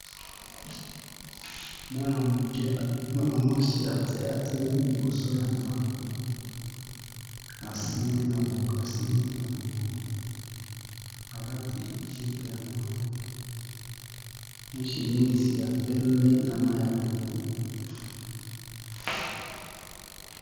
Muana muke, mwana mwasi atelemi liboso ya ndako asimbi na mokongo alati jupe ya noir na chemise ya pembe na mayi ya pondu.